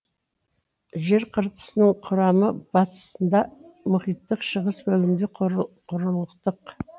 жер қыртысының құрамы батысында мұхиттық шығыс бөлігінде құрлықтық